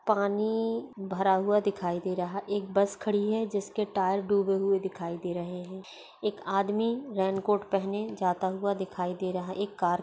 पानी भरा हुआ दिखाई दे रहा एक बस खड़ी है जिसके टायर डूबे हुए दिखाई दे रहे हैं एक आदमी रेन कोट पहने जाता हुआ दिखाई दे रहा एक कार --